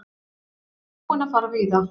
Hann er búinn að fara víða.